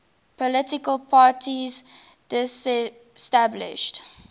political parties disestablished